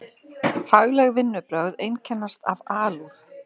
Fagleg vinnubrögð einkennast af alúð.